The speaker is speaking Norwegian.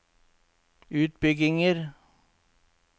utbygginger